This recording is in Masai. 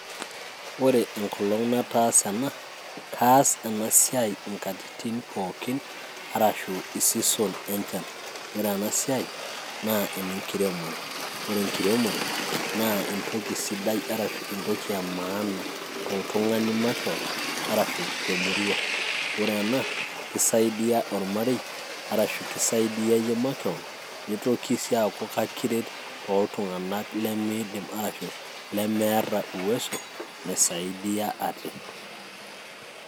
Ore enkolong' nataasa ena, kaas enasiai inkatitin pookin, arashu i season enchan. Ore enasiai, naa enkiremore, Ore enkiremore, naa entoki sidai arashu entoki emaana toltung'ani makeon, arashu temurua. Ore ena, kisaidia ormarei, arashu kisaidia iyie makeon, nitoki si aaku kakiret toltung'anak limiidim arashu lemeeta uwezo, naisaidia ate.